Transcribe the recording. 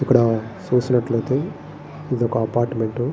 ఇక్కడా చూసినట్లయితే ఇది ఒక అపార్ట్మెంటు .